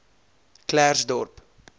klersdorp